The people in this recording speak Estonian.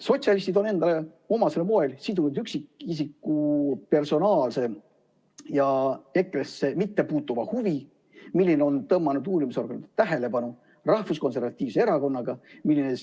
Sotsialistid on endale omasel moel sidunud üksikisiku personaalse ja EKRE‑sse mittepuutuva huvi, mis on tõmmanud endale uurimisorganite tähelepanu, rahvuskonservatiivse erakonnaga.